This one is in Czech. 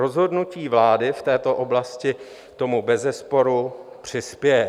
Rozhodnutí vlády v této oblasti tomu bezesporu přispěje.